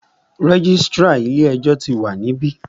Registrar ilé ẹjọ́ tí wa níbí.